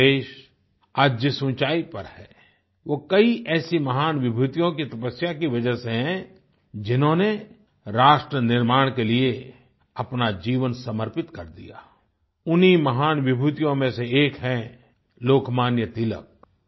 हमारा देश आज जिस ऊँचाई पर है वो कई ऐसी महान विभूतियों की तपस्या की वजह से है जिन्होंने राष्ट्र निर्माण के लिए अपना जीवन समर्पित कर दिया उन्हीं महान विभूतियों में से एक हैं लोकमान्य तिलक